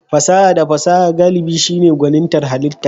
Fasaha da fasaha galibi shine gwanintar halitta.